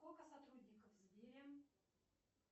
сколько сотрудников в сбере